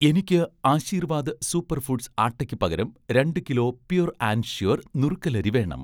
എനിക്ക് 'Aashirvaad' super foods ആട്ടയ്ക്ക് പകരം രണ്ടു കിലോ 'പ്യുർ ആൻഡ് ഷ്യൂർ' നുറുക്കലരി വേണം